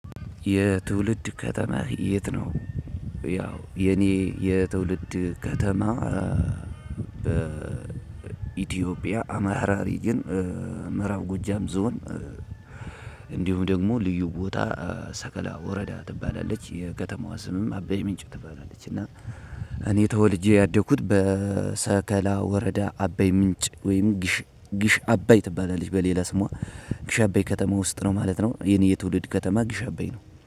የትውልድ ከተማህ የት ነው? ያው የኔ የትውልድ ከተማ። በኢትዮጵያ አማራ ሪጅን ምዕራብ ጎጃም ዞን። እንዲሁም ደግሞ ልዩ ቦታ ሰቀላ ወረዳ ትባላለች የከተማዋ ስምም አበይ ምንጭ ትባላለች። እና እኔ ተወልጄ ያደኩት በሰከላ ወረዳ አበይ ምንጭ ወይም ግሽ አባይ ትባላለች በሌላ ስሟ ግሽ አባይ ከተማ ውስጥ ነው ማለት ነው። የኔ የትውልድ ከተማ ግሽ አባይ ነው